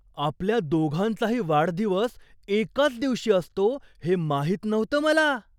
आपल्या दोघांचाही वाढदिवस एकाच दिवशी असतो हे माहित नव्हतं मला!